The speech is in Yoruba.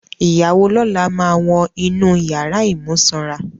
Ìyàwó lọ́la máa wọn inú ìyàrà ìmúsanra.